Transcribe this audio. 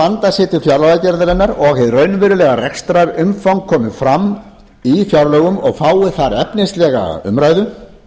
vanda sig til fjárlagagerðarinnar og hið raunverulega rekstrarumfang komi fram í fjárlögum og fái þar efnislega umræðu